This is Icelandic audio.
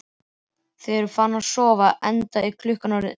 Þau eru farin að sofa, enda er klukkan orðin eitt.